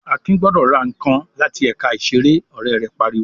"Akin gbọdọ̀ ra nǹkan láti ẹ̀ka ìṣeré!" Ọ̀rẹ́ rẹ̀ pariwo.